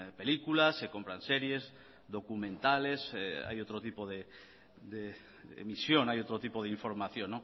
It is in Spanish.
películas se compran series documentales hay otro tipo de emisión hay otro tipo de información